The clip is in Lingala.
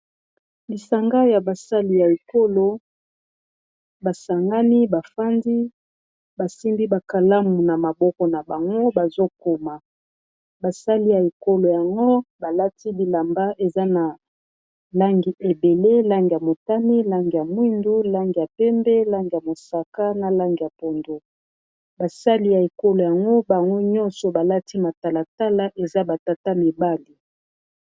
Lisanga ya basali ya ekolo, ba sangani, ba fandi, ba simbi ba kalamu na maboko na bango bazokoma. Ba sali ya ekolo yango, balati bilamba eza na langi ebele ; langi ya motami, langi ya mwindu, langî ya pembe, langi ya mosaka, na langi ya pondo. Basali ya ekolo yango, bango nyonso balati matalatala. Eza batata mibali.